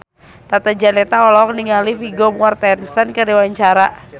Tata Janeta olohok ningali Vigo Mortensen keur diwawancara